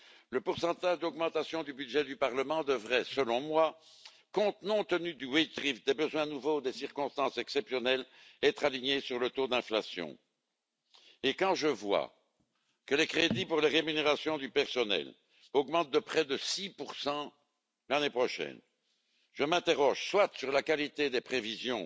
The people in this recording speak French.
Le pourcentage d'augmentation du budget du Parlement devrait, selon moi, compte non tenu de la pondération des salaires, des besoins nouveaux, des circonstances exceptionnelles, être aligné sur le taux d'inflation. Quand je vois que les crédits pour les rémunérations du personnel augmentent de près de 6 l'année prochaine, je m'interroge, soit sur la qualité des prévisions